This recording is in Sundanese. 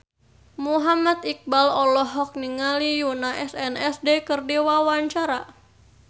Muhammad Iqbal olohok ningali Yoona SNSD keur diwawancara